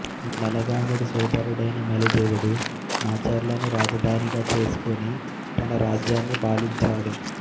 నలగాముడి సోదరుడైన మలిదేవుడు మాచర్లను రాజధానిగా చేసుకుని తన రాజ్యాన్ని పాలించాడు